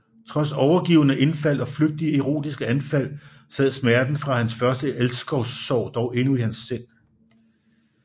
Trods overgivne indfald og flygtige erotiske anfald sad smerten fra hans første elskovssorg dog endnu i hans sind